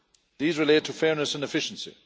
These relate to fairness and efficiency.